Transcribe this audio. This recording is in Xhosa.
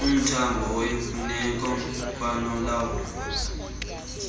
umthamo oyimfuneko kwanalowo